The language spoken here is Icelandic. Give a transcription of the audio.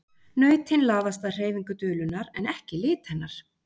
Nautin laðast að hreyfingu dulunnar en ekki lit hennar.